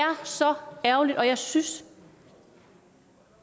så ærgerligt og jeg synes